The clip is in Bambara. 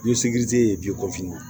ye na